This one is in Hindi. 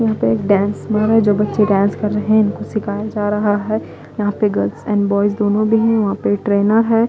यहाँं पे एक डांस समारोह हैं जो बच्चे डांस कर रहे हैं उनको सिखाया जा रहा हैं यहाँं पे गर्ल्स एंड बॉयज दोनों भी हैं वहाँं पे एक ट्रेनर हैं।